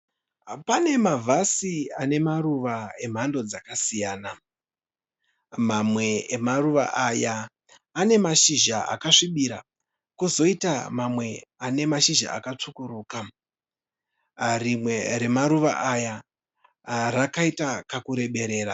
Pane mavhasi anemaruva emhando dzakasiyana, mamwe emaruva aya ane mashizha akasvibira kozoita mamwe ane mashizha akatsvukuruka. Rimwe remaruva aya rakaita kakureberera.